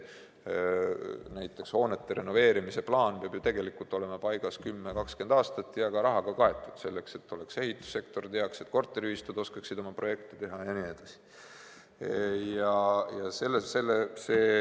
Näiteks hoonete renoveerimise plaan peab ju tegelikult olema paigas 10–20 aastaks ja ka rahaga kaetud selleks, et oleks ehitussektor, et korteriühistud oskaksid oma projekte teha jne.